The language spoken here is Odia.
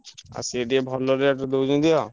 ଆଉ ସିଏ ଟିକେ ଭଲ rate ରେ ଦଉଛନ୍ତି ଆଉ।